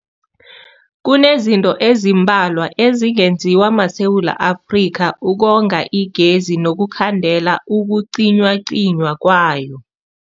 Kunezinto ezimbalwa ezingenziwa maSewula Afrika ukonga igezi nokukhandela ukucinywacinywa kwayo.